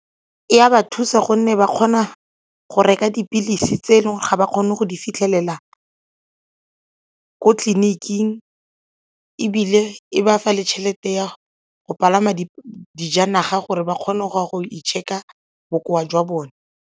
E a ba thusa gonne ba kgona go reka dipilisi tse e leng ga ba kgone go di fitlhelela ko tleliniking ebile e ba fa le tšhelete ya go palama dijanaga gore ba kgone go ya go i-check-a bokoa jwa bone.